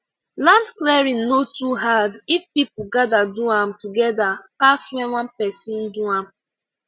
land clearing no too hard if people gather do am together pass when one person do am